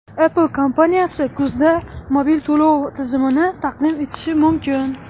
Apple kompaniyasi kuzda mobil to‘lov tizimini taqdim etishi mumkin.